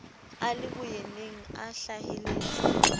a le boyeneng a hlaheletse